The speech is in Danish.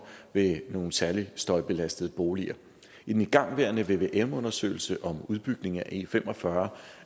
ved nogle særlig støjbelastede boliger i den igangværende vvm undersøgelse om udbygning af e45